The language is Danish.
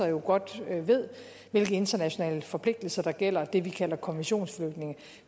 jo godt ved hvilke internationale forpligtelser der gælder det vi kalder konventionsflygtninge